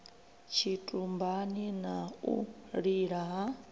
tshitumbani na u lila ha